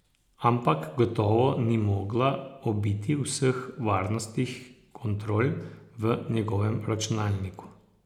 Ampak gotovo ni mogla obiti vseh varnostnih kontrol v njegovem računalniku.